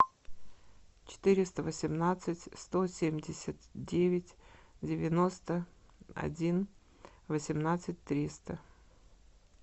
четыреста восемнадцать сто семьдесят девять девяносто один восемнадцать триста